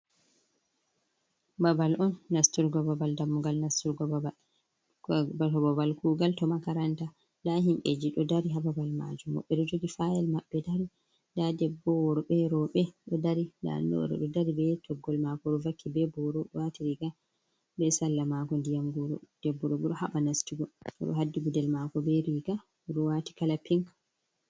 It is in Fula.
Babal on nasturgo babal dammugal nasturgo babal to babal kugal to makaranta nda himɓɓeji ɗo dari hababal majum woɓɓe ɗo jogi fayel maɓɓe dari nda debbo woɓɓe roɓɓe ɗo dari nda ni oɗo ɗo dari be toggol mako oɗo vaki be boro ɗo wati riga be salla mako ndiyam goro debbo ɗobo ɗo haɓa nastugo oɗo hadi guɗel mako be riga oɗo wati kala pink.